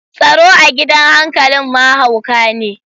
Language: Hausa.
Tsaro a gidan hankalin ma hauka ne.